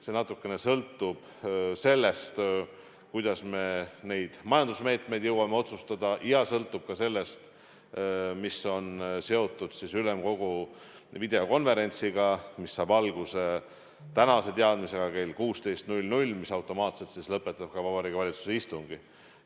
See natuke sõltub sellest, kuidas me majandusmeetmeid jõuame otsustada, ja sõltub ka sellest, mis on seotud ülemkogu videokonverentsiga, mis saab alguse tänase teadmise põhjal kell 16, mis automaatselt lõpetab ka Vabariigi Valitsuse istungi.